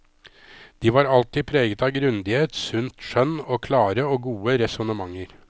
De var alltid preget av grundighet, sunt skjønn og klare og gode resonnementer.